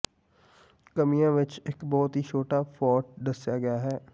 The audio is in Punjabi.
ਕਮੀਆਂ ਵਿਚ ਇਕ ਬਹੁਤ ਹੀ ਛੋਟਾ ਫੌਂਟ ਦੱਸਿਆ ਗਿਆ ਹੈ